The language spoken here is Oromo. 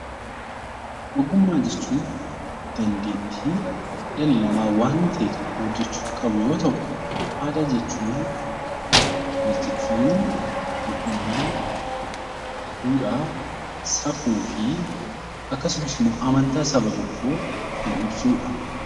Ogummaa jechuun dandeettii dhalli namaa waan ta'e tokko hojjechuuf qabu yoo ta'u, aadaa jechuun walitti dhufeenya yookiin immoo duudhaa safuu fi amantaa saba tokkoo kan ibsudha.